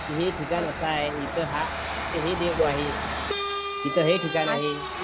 हे ठिकाण अस आहे इथे हे देव आहे ईथ हे ठिकाण आहे